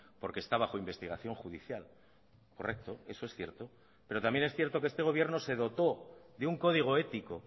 porque está bajo investigación judicial correcto eso es cierto pero también es cierto que este gobierno se dotó de un código ético